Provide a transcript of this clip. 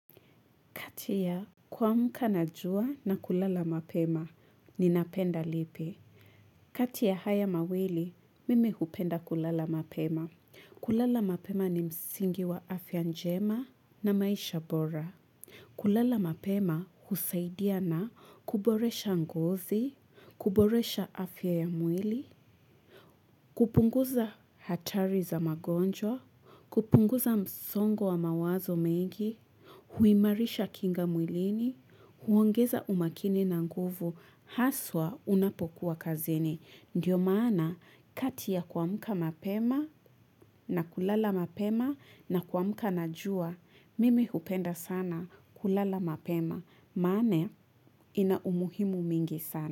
Kati ya kumka na jua na kulala mapema, ninapenda lipi. Kati ya haya mawili, mimi hupenda kulala mapema. Kulala mapema ni msingi wa afya njema na maisha bora. Kulala mapema husaidia na kuboresha ngozi, kuboresha afya ya mwili, kupunguza hatari za magonjwa, kupunguza msongo wa mawazo mengi, huimarisha kinga mwilini, huongeza umakini na nguvu, haswa unapokuwa kazini. Ndiyo maana kati ya kuamka mapema na kulala mapema na kuamka na jua, mimi hupenda sana kulala mapema. Maana ina umuhimu mingi sana.